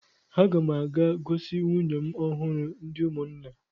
Aga m a ga-gosi nwunye m ọhụrụ ndị ụmụnna.